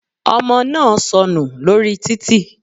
Ọmọ náà sọnù lórí títì.